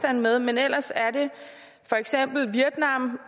er med men ellers er det for eksempel vietnam